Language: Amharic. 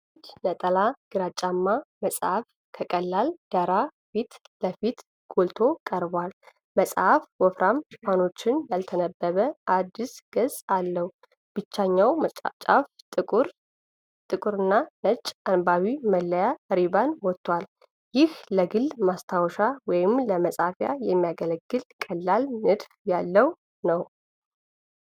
አንድ ነጠላ ግራጫማ መጽሐፍ ከቀላል ዳራ ፊት ለፊት ጎልቶ ቀርቧል። መጽሐፉ ወፍራም ሽፋኖችና ያልተነበበ አዲስ ገጽ አለው። ከታችኛው ጫፍ ጥቁርና ነጭ የአንባቢ መለያ ሪባን ወጥቷል። ይህ ለግል ማስታወሻ ወይም ለመፃፊያ የሚያገለግል ቀላል ንድፍ ያለው ነው።